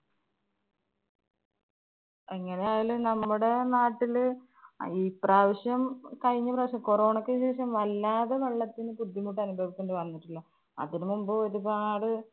എങ്ങനെയായാലും നമ്മുടെ നാട്ടില് ആ ഈ പ്രാവശ്യം കഴിഞ്ഞ പ്രാവശ്യം corona യ്ക്ക് ശേഷം വല്ലാതെ വെള്ളത്തിന് ബുദ്ധിമുട്ടനുഭവിക്കേണ്ടി വന്നിട്ടുണ്ട്. അതിനു മുമ്പ് ഒരുപാട്